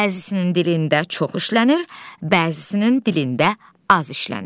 Bəzisnin dilində çox işlənir, bəzisnin dilində az işlənir.